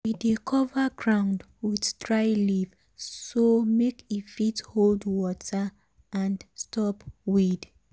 we dey cover ground with dry leaf so make e fit hold water and stop weed.